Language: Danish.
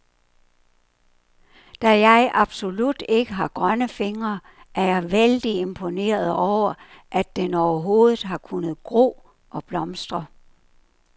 Da jeg absolut ikke har grønne fingre, er jeg vældig imponeret over, at den overhovedet har kunnet gro og blomstre.